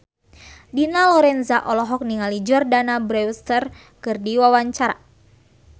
Dina Lorenza olohok ningali Jordana Brewster keur diwawancara